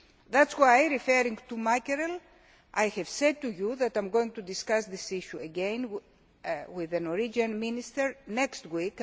That is why, regarding mackerel, I have said to you that I am going to discuss this issue again with the Norwegian Minister next week.